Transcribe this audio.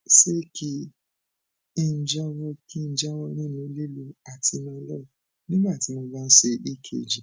ṣé kí n jáwọ kí n jáwọ nínú lílo atenolol nígbà tí mo bá ń ṣe ekg